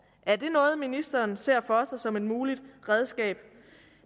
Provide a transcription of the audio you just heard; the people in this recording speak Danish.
er det noget ministeren ser for sig som et muligt redskab